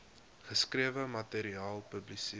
geskrewe materiaal publiseer